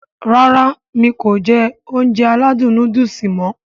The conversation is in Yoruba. Rárá mi kò jẹ Ounjẹ aládùn nóódùsì mọ̀